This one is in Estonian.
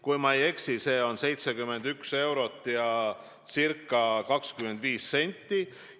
Kui ma ei eksi, see on 71 eurot ja ca 25 senti.